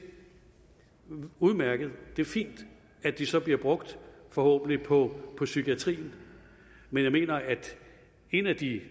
være udmærket det er fint at de så bliver brugt forhåbentlig på på psykiatrien men jeg mener at en af de